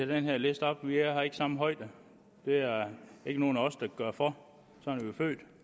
den her lidt op vi har ikke samme højde det er der ikke nogen af os der kan gøre for sådan